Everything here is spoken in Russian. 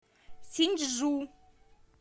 синьчжу